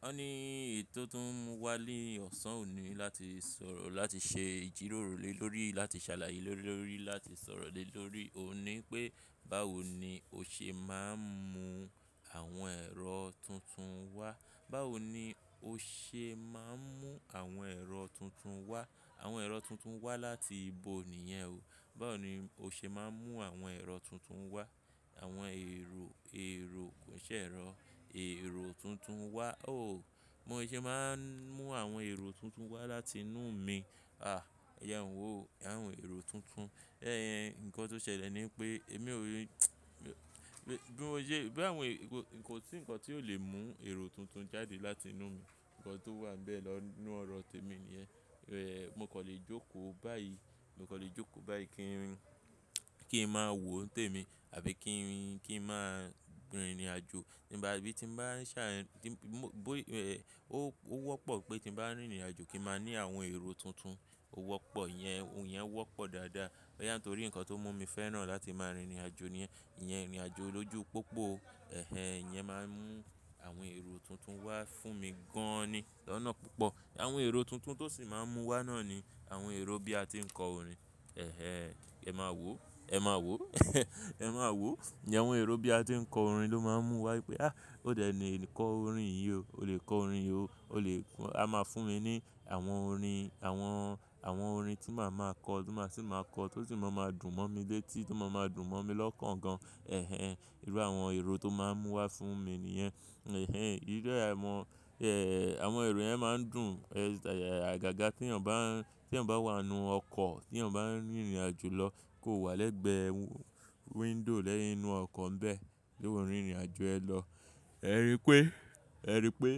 Ó ní ètó tún wá lé ọ̀sán òní láti sọ̀rọ̀ láti ṣe ìjíròrò lórí láti ṣàlàyé lórí láti sọ̀rọ̀ lé lórí oní pé báwo ni ó ṣe máa ń mú àwọn ẹ̀rọ tuntun wá. Báwo ni ó ṣe máa ń mú àwọn ẹ̀rọ tuntun wá. Àwọn ẹ̀rọ tuntun wá láti ibo nìyẹn o. Báwo ni ó ṣe máa ń mú àwọn ẹ̀rọ tuntun wá. Àwọn èrò, èrò kò ṣe ẹ̀rọ. Èrò tuntun wá o. Mo ṣe máa ń mú àwọn èrò tuntun wá láti inú mi. À, ẹ̀jẹn ò wò. Ẹ̀yẹn ò èrò tuntun. Ẹ̀hẹ̀n, nǹkan tó ṣẹlẹ̀ ni pé èmi ò ní, bí mo ṣe, báwo ni kò sí ǹkan tí ó lè mú èrò tuntun jáde láti inú mi. Ǹkan tó wà bẹ́ẹ̀ lọ inú ọ̀rọ̀ tèmi nìyẹn. Ẹ̀, mo kò lè jókòó báyìí. Mo kò lè jókòó báyìí kí n, kí n máa wò ń témi àbí kí n, kí n máa rin ìrìnàjò abí tí ń bá ń ṣà ẹ̀, tí mó bó ẹ̀, ó wọ́pọ̀ pé tí mo bá rìnrìnàjò kí n máa ní àwọn èrò tuntun. Ó wọ́pọ̀, ìyẹn òun yẹn wọ́pọ̀ dáadáa. Bóyá torí ǹkan tó mú mi fẹ́ràn láti máa rìnrìnàjò níyẹn. Ìyẹn rìnrìnàjò lójú pópó. Ẹ̀hẹ̀n, ìyẹn máa ń mú àwọn èrò tuntun wá fún mi gan-an ni. Lọ́nà púpọ̀. Àwọn èrò tuntun tó sì máa ń mú wá náà ni àwọn èrò bí a ti ń kọ orin. Ẹ̀hẹ̀n, ẹ máa wò. Ẹ máa wò. Ẹ̀hẹ̀n, ẹ máa wò. Ìyẹn àwọn èrò bí a ti ń kọ orin ló máa ń mú wá pé a, ó dẹ̀ ní kọ orin yìí o. O lè kọ orin yìí o. O lè, a máa fún mi ní àwọn orin, àwọn, àwọn orin tí màá máa kọ, tí mo sì máa kọ tó sì máa ń máa dùn mọ́ mi létí, tó sì máa ń máa dùn mọ́ mi lọ́kàn gan. Ẹ̀hẹ̀n, irú àwọn èrò tó máa ń mú wá fún mi nìyẹn. Ẹ̀hẹ̀n, irú ẹ̀ mọ, ẹ̀, àwọn èrò yẹn máa ń dùn, ẹ̀, àgàgà tí ẹ̀yàn bá ń, tí ẹ̀yàn bá wà nínú ọkọ̀, tí ẹ̀yàn bá ń rìnrìnàjò lọ kó wà lẹ́gbẹ̀ẹ́ window lẹ́yìn inú ọkọ̀ ń bẹ. Tó ń rìnrìnàjò ẹ lọ. Ẹ rí pé, ẹ rí pé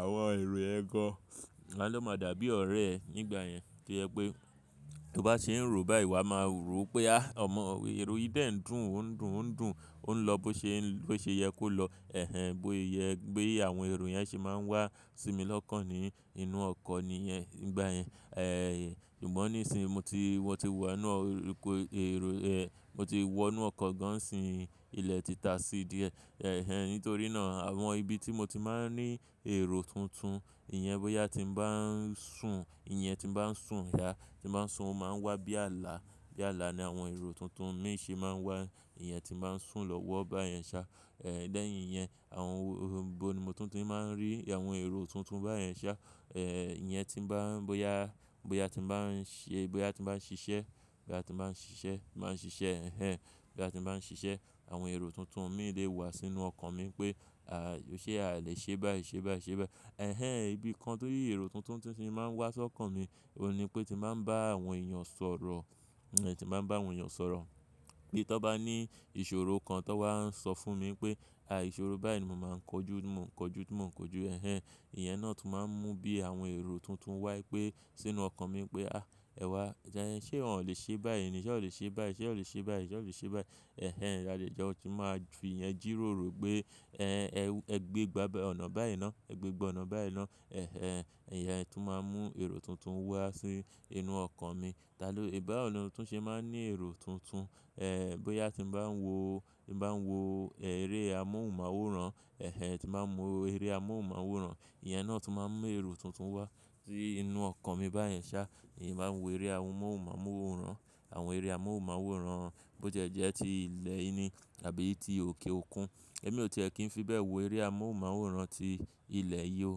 àwọn èrò ẹ gan-an ló máa dàbí ọ̀rẹ́ ẹ nígbà yẹn. To jẹ pé tí ó bá ṣe ń rò báyìí, wa máa rò pé a, ọmọ èrò yìí bẹ́ẹ̀ ń dùn, òun ń dùn, òun ń dùn, òun ń lọ bó ṣe, bó ṣe yẹ kó lọ. Ẹ̀hẹ̀n, bó yẹ pé àwọn èrò yẹn ṣe máa ń wá sí mi lọ́kàn ni inú ọkọ̀ nìyẹn nígbà yẹn. Ẹ̀, ṣùgbọ́n nísìí, mo ti, mo ti wù wá inú ọkọ̀, èrò ẹ̀, mo ti wọ inú ọkọ̀ gan-an sì ilẹ̀ ti ta sí díẹ̀. Ẹ̀hẹ̀n, nítorí náà àwọn ibi tí mo ti máa ń ní èrò tuntun, ìyẹn bóyá tí mo bá ń sùn, ìyẹn tí mo bá ń sùn yá, tí mo bá ń sùn, ó máa ń wá bí ààlà. Bí ààlà ni àwọn èrò tuntun mi ṣe máa ń wá. Ìyẹn tí mo bá ń sùn lọ́wọ́ báyen ṣá. Ẹ̀, lẹ́yìn yẹn, àwọn ibo ni mo tuntun máa ń rí àwọn èrò tuntun báyìí ṣá. Ẹ̀, ìyẹn tí mo bá ń, bóyá, bóyá tí mo bá ń ṣe, bóyá tí mo bá ń ṣiṣẹ́, bóyá tí mo bá ń ṣiṣẹ́, mo máa ń ṣiṣẹ́. Ẹ̀hẹ̀n, bóyá tí mo bá ń ṣiṣẹ́, àwọn èrò tuntun mi lè wà sínú ọkàn mi pé à, ṣe a lè ṣe báyìí, ṣe báyìí, ṣe báyìí. Ẹ̀hẹ̀n, ibi kan tó yí èrò tuntun tuntun máa ń wá sókàn mi, òun ni pé tí màá ń bá àwọn èèyàn sọ̀rọ̀. Ẹ̀, tí màá ń bá àwọn èèyàn sọ̀rọ̀. Bí tọ́ bá ní ìṣòro kan tó wà ń sọ fún mi pé, à ìṣòro báyìí ni mo máa ń kojú, mo ń kojú, tí mo ń kojú. Ẹ̀hẹ̀n, ìyẹn náà tún máa ń mú bí àwọn èrò tuntun wá pé sínú ọkàn mi pé a, ẹ̀ wá, ẹ̀yẹn ṣe ò lè ṣe báyìí ni, ṣe ò lè ṣe báyìí, ṣe ò lè ṣe báyìí, ṣe ò lè ṣe báyìí. Ẹ̀hẹ̀n, ìdàlejọ̀ tún máa ń dùn, ìyẹn jìròrò pé ẹ, ẹ gbé ìgbàgbọ́ ọ̀nà báyìí náà, ẹ gbé ìgbọ́ ọ̀nà báyìí náà. Ẹ̀hẹ̀n, ìyẹn tún máa ń mú èrò tuntun wá sínú inú ọkàn mi. Tàló, ìbáwo ni ó tún ṣe máa ń ní èrò tuntun. Ẹ̀, bóyá tí mo bá ń wo, tí mo bá ń wo eré amóhùnmáwòrán. Ẹ̀hẹ̀n, tí mo máa ń wo eré amóhùnmáwòrán, ìyẹn náà tún máa ń mú èrò tuntun wá sí inú ọkàn mi báyen ṣá. Èmi máa ń wo eré amóhùnmáwòrán. Àwọn eré amóhùnmáwòrán bó jẹ́ jẹ́ ti ilẹ̀ yìí ni àbí ti òkè òkun. Èmi ò ti è kí ń fi bẹ́ẹ̀ wo eré amóhùnmáwòrán ti ilẹ̀ yí o.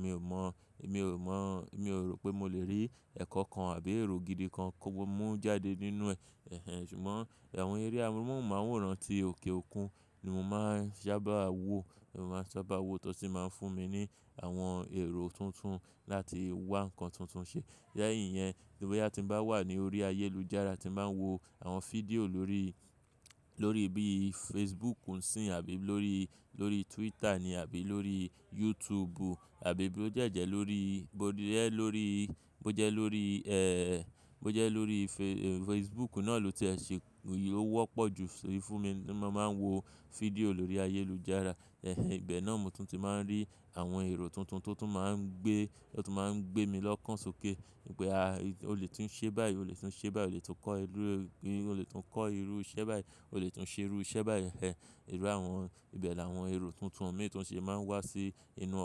Mi ò mọ̀, mi ò mọ̀, mi ò rò pé mo lè rí ẹ̀kọ́ kan àbí èrò gidi kan kó mú jáde nínú ẹ. Ẹ̀hẹ̀n, ṣùgbọ́n àwọn eré amóhùnmáwòrán ti òkè òkun ni mo máa ń sábà wo. Mo máa ń sábà wo tó sì máa ń fún mi ní àwọn èrò tuntun láti wá ǹkan tuntun ṣe. Lẹ́yìn yẹn, bóyá tí mo bá wà ní orí ayélujára tí mo máa ń wo àwọn fídíò lórí, lórí bí Facebook ń sín àbí lórí, lórí Twitter ni àbí lórí YouTube àbí bí ó jẹ́ jẹ́ lórí, bó dí ẹ lórí, bó jẹ́ lórí ẹ, bó jẹ́ lórí e, Facebook náà ló ti ẹ ṣe, ó wọ́pọ̀ jù sórí fún mi tí mo máa ń wo fídíò lórí ayélujára. Ẹ̀hẹ̀n, ibẹ̀ náà mo tún ti máa ń rí àwọn èrò tuntun tó tún máa ń gbé, tó tún máa ń gbé mi lọ́kàn sókè pé a, ó lè tún ṣe báyìí, ó lè tún ṣe báyìí, ó lè tún kọ́ irú, ó lè tún kọ́ irú iṣẹ́ báyìí, ó lè tún ṣe irú iṣẹ́ báyìí. Ẹ̀hẹ̀n, irú àwọn ibẹ̀ làwọn èrò tuntun mi tó ń ṣe máa ń wá sí inú ọkàn.